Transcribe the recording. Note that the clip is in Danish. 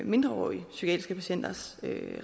mindreårige psykiatriske patienters